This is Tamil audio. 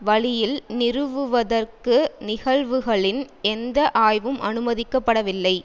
வழியில் நிறுவுவதற்கு நிகழ்வுகளின் எந்த ஆய்வும் அனுமதிக்கப்படவில்லை